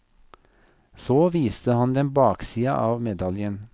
Så viste han dem baksida av medaljen.